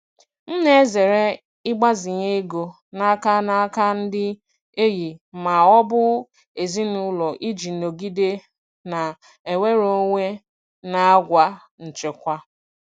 M na-ezere ịgbazinye ego n'aka n'aka ndị enyi ma ọ bụ ezinụlọ iji nọgide na-enwere onwe na àgwà nchekwa.